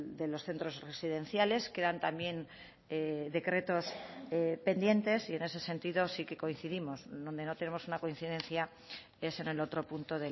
de los centros residenciales quedan también decretos pendientes y en ese sentido sí que coincidimos donde no tenemos una coincidencia es en el otro punto